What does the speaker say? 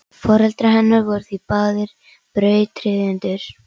Foreldrar hennar voru því báðir brautryðjendur.